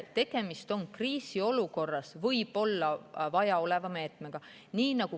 Tegemist on kriisiolukorras võib-olla vaja mineva meetmega.